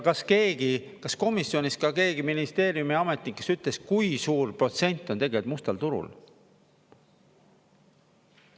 Kas komisjonis ka keegi, ministeeriumi ametnik, kes ütles, kui suur protsent on tegelikult mustal turul?